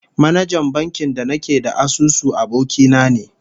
Manajan bankin da nake da asusu, aboki na ne